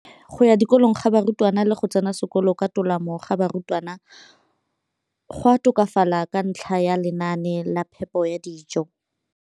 Kolong ga barutwana le go tsena sekolo ka tolamo ga barutwana go a tokafala ka ntlha ya lenaane la phepo ya dijo.